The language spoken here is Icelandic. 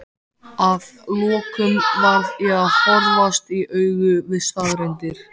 að lokum varð ég að horfast í augu við staðreyndir.